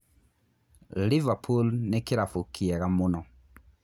Liverpool nĩ kĩ rabũ kĩ ega mũno